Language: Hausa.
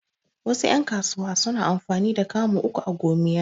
Wasu ƴan kasuwa suna amfani da kamu uku a gomiya